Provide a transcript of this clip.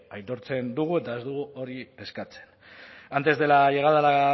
aitortzen dugu eta ez dugu hori eskatzen antes de la llegada de la